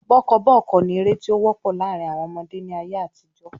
Bọ́kọ́bọ́ọ́kọ́ ni ère tí ó wọ́pọ̀ láàrín àwọn ọmọdé ni ayé àtijọ́